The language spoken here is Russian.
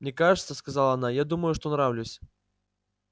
мне кажется сказала она я думаю что нравлюсь